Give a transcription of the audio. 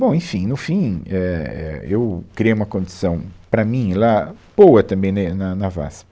Bom, enfim, no fim, é, é, eu criei uma condição para mim lá, boa também né, na na VASP.